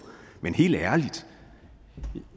men helt ærligt